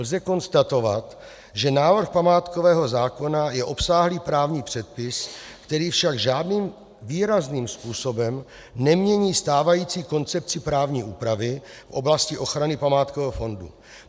Lze konstatovat, že návrh památkového zákona je obsáhlý právní předpis, který však žádným výrazným způsobem nemění stávající koncepci právní úpravy v oblasti ochrany památkového fondu.